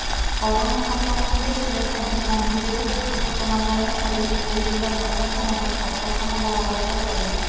corona ସଂକ୍ରମଣକୁ ରୋକିବା ପାଇଁ ମନ୍ଦିରରେ ଭକ୍ତ ସମାଗମ ଉପରେ ପୁରୀ ଜିଲ୍ଲା ପ୍ରଶାସନର କଟକଣା ବଳବତର ରହିଛି